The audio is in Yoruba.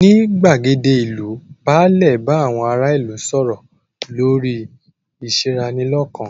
Ní gbàgéde ìlú, báàlẹ̀ bá àwọn ará ìlú sọ̀rọ̀ lórí ìṣeranilọ́kan.